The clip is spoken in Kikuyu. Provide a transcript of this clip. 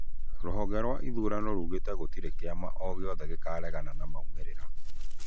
Rũhonge rwa ithũrano rũgĩte gũtĩre kĩama ogĩothe gĩkaregana na maumĩrĩra